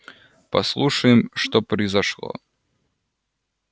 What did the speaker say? послушаем что произошло